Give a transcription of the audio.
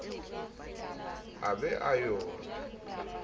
a be a yo re